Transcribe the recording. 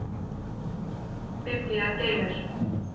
Biblían geymir.